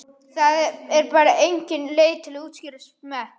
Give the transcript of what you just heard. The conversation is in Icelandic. Það er bara engin leið að útskýra smekk.